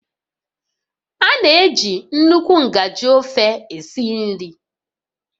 A na-eji nnukwu ngaji ofe esi nri